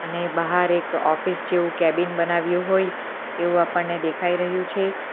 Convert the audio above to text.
અને બાહાર એક ઓફિસ જેવું કેબિન બનાવ્યું હોય એવું આપણને દેખાય રહ્યું છે.